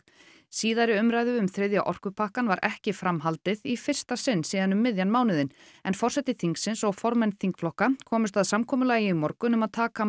síðari umræðu um þriðja orkupakkann var ekki framhaldið í fyrsta sinn síðan um miðjan mánuðinn en forseti þingsins og formenn þingflokka komust að samkomulagi í morgun um að taka